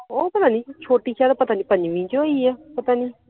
ਉਹ ਪਤਾ ਨਹੀਂ ਛੋਟੀ ਸ਼ਾਇਦ ਪਤਾ ਨਹੀਂ ਪੰਜਵੀ ਚ ਹੋਈ ਏ ਪਤਾ ਨਹੀਂ